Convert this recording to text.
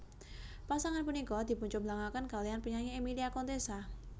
Pasangan punika dipuncomblangaken kaliyan penyanyi Emilia Contessa